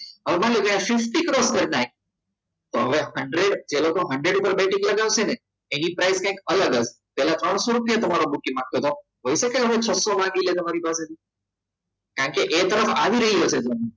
હવે માની લો કે sixteenth ક્રોસ કરી નાખી તો હવે hundred પહેલા તો hundred ઉપર મોકલી જશે ને એની price કઈક અલગ હશે તો હવે ત્રણસો રૂપિયા તો મારો બુકિંગ માટે પૈસાનો છસો કેમ કે એર ક્રમ આવી રહ્યો છે